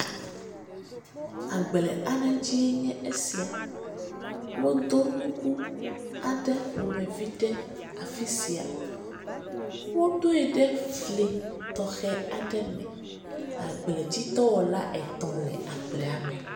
Agble aɖe dzie nye sia. Wodo nuku aɖe ƒomevi ɖe afi sia. Wodoe ɖe fli tɔxɛ aɖe me. Agbledzidɔwɔla etɔ̃ le agblea me.